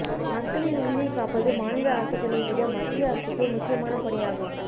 மக்களின் உயிரைக்காப்பது மாநில அரசுகளைவிட மத்திய அரசுக்கே முக்கியமான பணி ஆகும்